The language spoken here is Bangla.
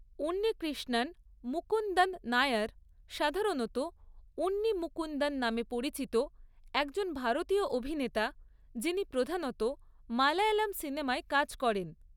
উন্নিকৃষ্ণন মুকুন্দন নায়ার, সাধারণত উন্নি মুকুন্দন নামে পরিচিত, একজন ভারতীয় অভিনেতা যিনি প্রধানত মালয়ালম সিনেমায় কাজ করেন।